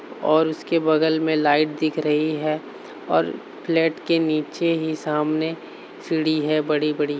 और उसके बगल में लाइट दिख रही है और फ्लैट के नीचे ही सामने सीढ़ी है बड़ी-बड़ी।